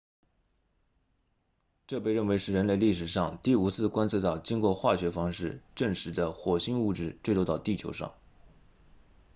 这被认为是人类历史上第五次观测到经过化学方式证实的火星物质坠落到地球上